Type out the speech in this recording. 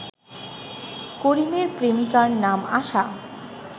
করিমের প্রেমিকার নাম আশা